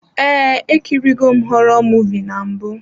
Ee, ekiri go m họrọ muvịị na mbụ.